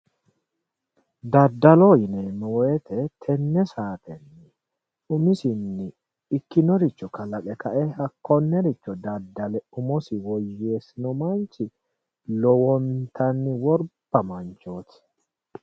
Daddalo yinanni woyte tenne sa"atera umisinni ikkinoricho kalaqe kae hakkonnericho daddale umosi woyyeessino manchi lowontanni worba manchooti.